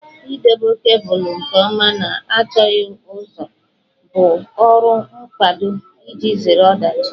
Idobe kebụlụ nke ọma na anọchighị ụzọ bụ ọrụ mkpado iji zere ọdachi